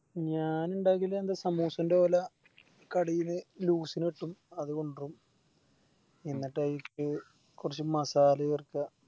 ഞാനിണ്ടക്കല് എന്താ സ്മൂസെൻറെ പോലെ കടില് Loss ന് കിട്ടും അത് കൊണ്ടോവും എന്നിട്ട് അയിലേക്ക് കൊറച്ച് Masala ചേർക്ക